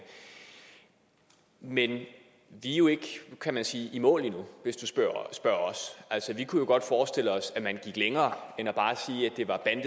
men vi er jo ikke kan man sige i mål endnu hvis du spørger os vi kunne godt forestille os at man gik længere